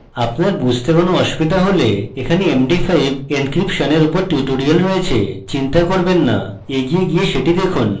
আপনার বুঝতে কোনো অসুবিধা হলে এখানে md5 encryption এর উপর tutorial রয়েছে চিন্তা করবেন না এগিয়ে গিয়ে সেটি দেখুন